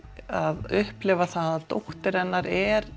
að upplifa það að dóttir hennar er